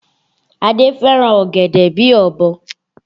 Adé fẹ́ràn ọ̀gẹ̀dẹ̀ bíi ọ̀bọ